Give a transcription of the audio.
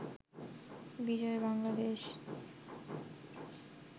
Bijoy Bangladesh